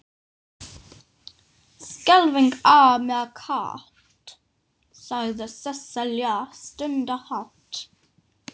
Skelfing er mér kalt, sagði Sesselja stundarhátt.